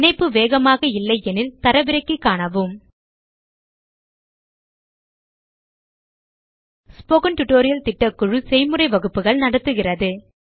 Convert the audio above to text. இணைப்பு வேகமாக இல்லையெனில் தரவிறக்கி காணவும் ஸ்போக்கன் டியூட்டோரியல் திட்டக்குழு செய்முறை வகுப்புகள் நடத்துகிறது